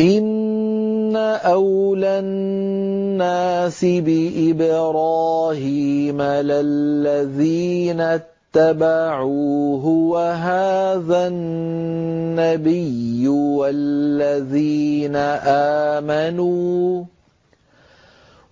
إِنَّ أَوْلَى النَّاسِ بِإِبْرَاهِيمَ لَلَّذِينَ اتَّبَعُوهُ وَهَٰذَا النَّبِيُّ وَالَّذِينَ آمَنُوا ۗ